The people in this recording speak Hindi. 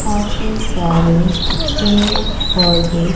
काफी सारे पेड़ पौधे--